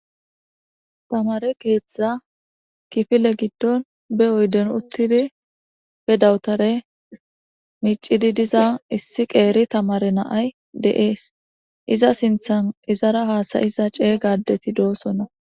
Tamare keethetza kifile giddon be oyden uttidi pe dawutare micidi diza issi qeeri tamare naay de'ees iza sinthan izara haasayiza cey gadeti doosonna.